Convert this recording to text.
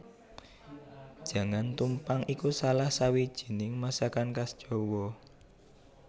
Jangan tumpang iku salah sawijining masakan khas Jawa